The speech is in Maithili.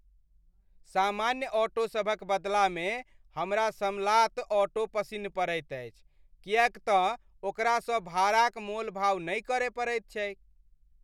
सामान्य ऑटोसभक बदलामे हमरा समलात ऑटो पसिन्न पड़ैत अछि किएक तँ ओकरासँ भाड़ा क मोलभाव नहि करय पड़ैत छैक।